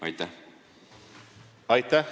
Aitäh!